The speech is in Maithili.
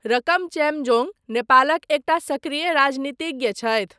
रकम चेम्जोङ नेपालक एकटा सक्रिय राजनितिज्ञ छथि।